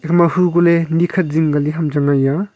ema hu koh ley ni khat zing kali ham chang a eya a.